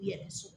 I yɛrɛ so